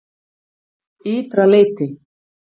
Ytra leyti